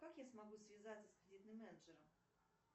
как я смогу связаться с кредитным менеджером